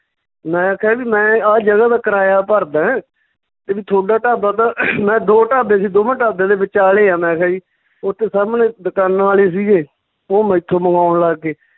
ਮੈਂ ਕਿਹਾ ਵੀ ਮੈਂ ਆਹ ਜਗ੍ਹਾ ਦਾ ਕਰਾਇਆ ਭਰਦਾ ਹੈਂ, ਤੇ ਵੀ ਤੁਹਾਡਾ ਢਾਬਾ ਤਾਂ ਮੈਂ ਦੋ ਢਾਬੇ ਸੀ ਦੋਵਾਂ ਢਾਬਿਆਂ ਦੇ ਵਿਚਾਲੇ ਆਂ ਮੈਂ ਕਿਹਾ ਜੀ, ਓਥੇ ਸਾਮਣੇ ਦੁਕਾਨਾਂ ਵਾਲੇ ਸੀਗੇ ਓਹ ਮੈਥੋਂ ਮੰਗਾਉਣ ਲੱਗ ਗਏ